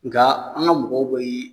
Nga an ga mɔgɔw bee